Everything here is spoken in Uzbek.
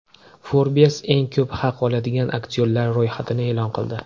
Forbes eng ko‘p haq oladigan aktyorlar ro‘yxatini e’lon qildi .